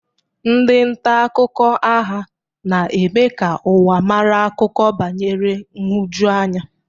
Ndị nta akụkọ agha na-eme ka ụwa mara akụkọ banyere nhụjuanya.